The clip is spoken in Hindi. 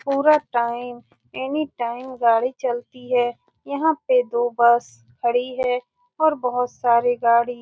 पूरा टाइम एनीटाइम गाड़ी चलती है यहां पे दो बस खड़ी है और बहुत सारी गाड़ी --